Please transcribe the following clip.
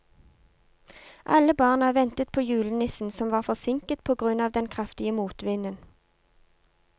Alle barna ventet på julenissen, som var forsinket på grunn av den kraftige motvinden.